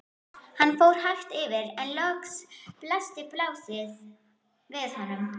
Hann fór hægt yfir en loks blasti plássið við honum.